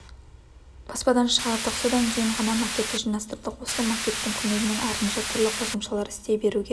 баспадан шығардық содан кейін ғана макетті жинастырдық осы макеттің көмегімен артынша түрлі қосымшалар істей беруге